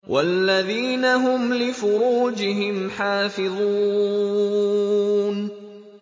وَالَّذِينَ هُمْ لِفُرُوجِهِمْ حَافِظُونَ